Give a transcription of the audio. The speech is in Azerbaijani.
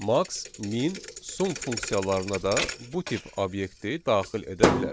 Max, min, sum funksiyalarına da bu tip obyekti daxil edə bilərik.